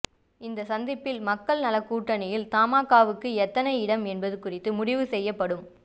இந்த சந்திப்பில் மக்கள் நலக்கூட்டணியில் தமாகவுக்கு எத்தனை இடம் என்பது குறித்து முடிவு செய்யப்படும்